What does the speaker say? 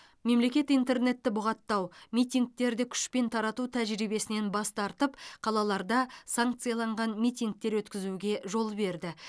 мемлекет интернетті бұғаттау митингтерді күшпен тарату тәжірибесінен бас тартып қалаларда санкцияланған митингтер өткізуге жол берді